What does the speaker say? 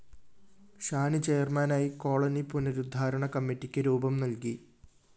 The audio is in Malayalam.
ഷാനി ചെയര്‍മാനായി കോളനി പുനരുദ്ധാരണ കമ്മിറ്റിക്ക് രൂപം നല്‍കി